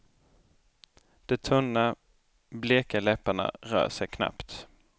De tunna, bleka läpparna rör sig knappt.